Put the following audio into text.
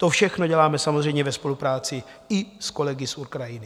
To všechno děláme samozřejmě ve spolupráci i s kolegy z Ukrajiny.